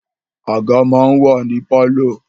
Àga máa ń wà ní pálọ̀